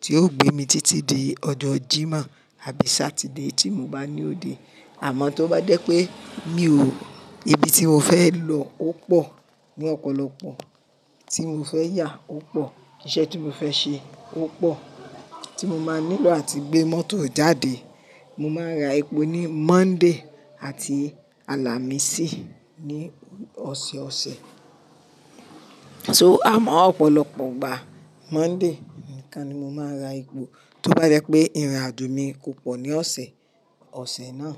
tí yóò gbé mi títí di ọjo Jimoh àbí Saturday tí mo bá ní òde. Àmọ́ tó bá jẹ́ pé mi ò, ibi tí mo fẹ lọ ó pọ̀ ní ọ̀pọ̀lọpọ̀, tí mo fẹ yà ó pọ̀, iṣẹ́ tí mo fẹ ṣe ó pọ̀ tí mo máa nílò àti gbé mọ́tò jáde. Mo máa ra epo ní Monday àti Alámisì ní ọ̀sẹ̀ọ̀sẹ̀. So, àmọ́ ọ̀pọ̀lọpọ̀ ìgbà Monday nìkan ni mo máa ra epo tó bá jẹ́ pé ìrìnàjò mi kò pọ̀ ní ọ̀sẹ̀ ọ̀sẹ̀ náà.